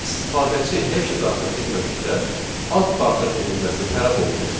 İstifadəçi heç nə daxil etmədikdə, ad daxil edilməsi tələb olunur.